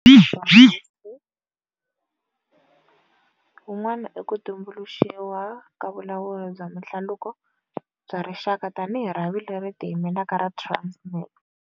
Antswiso wa nkoka swo nghasi wun'wana i ku tu mbuluxiwa ka Vulawuri bya Mihlaluko bya Rixaka tanihi rhavi leri tiyimelaka ra Transnet.